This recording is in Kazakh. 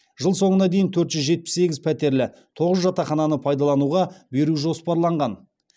жыл соңына дейін төрт жүз жетпіс сегіз пәтерлі тоғыз жатақхананы пайдалануға беру жоспарланған